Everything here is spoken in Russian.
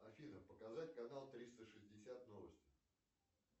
афина показать канал триста шестьдесят новости